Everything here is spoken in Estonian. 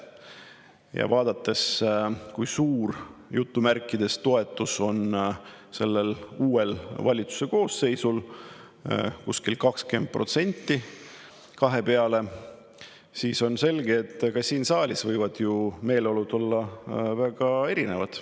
Ja vaadates, kui "suur" toetus on sellel uuel valitsuse koosseisul – kuskil 20% kahe peale –, siis on selge, et ka siin saalis võivad meeleolud olla väga erinevad.